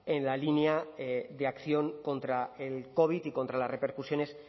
en la línea de acción contra el covid y contra las repercusiones